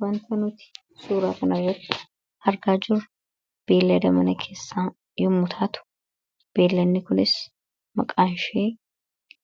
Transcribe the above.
wanta nuti suuraa kana irratt argaa jiru beellada mana keessaa yommu taatu beelanni kunis maqaanshii